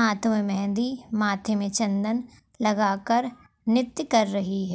हाथों मे मेंहदी माथे मे चंदन लगाकर नृत्य कर रही है।